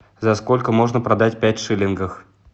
за сколько можно продать пять шиллингов